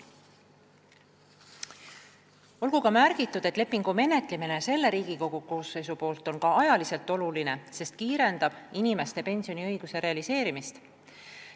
Olgu ka märgitud, et lepingu ratifitseerimine selle Riigikogu koosseisu poolt on oluline, sest kiirendab inimeste pensioniõiguse realiseerimist.